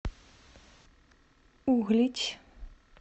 углич